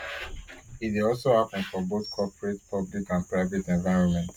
e dey aslo happun for both corporate public and private environments